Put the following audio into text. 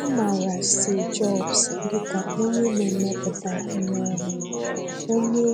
A maara Steve Jobs dị ka onye na-emepụta ihe ọhụrụ, onye